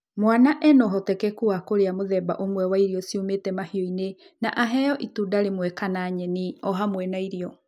Mwana arĩ na ũhotekeku wa kũrĩa mũthemba ũmwe wa irio ciumĩte mahiũ ini na engwe itunda rĩmwe kana nyeni oohamwe na irio